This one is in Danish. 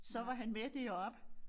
Så var han med deroppe